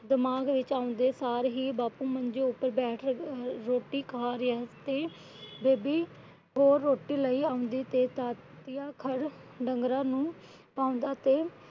ਦਿਮਾਗ ਵਿੱਚ ਆਉਂਦੇ ਸਾਰ ਹੀ ਬਾਪੂ ਮੰਜੇ ਉੱਤੇ ਬੈਠ ਕੇ ਰੋਟੀ ਖਾ ਰਿਹਾ ਸੀ। ਬੇਬੇ ਹੋਰ ਰੋਟੀ ਲਈ ਆਉਂਦੀ ਤੇ। ਡੰਗਰਾਂ ਨੂੰ ਪਾਉਂਦਾ ਤੇ